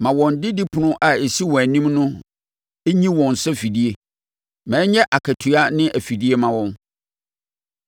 Ma wɔn didipono a ɛsi wɔn anim nyi wɔn sɛ afidie; ma ɛnyɛ akatua ne afidie mma wɔn.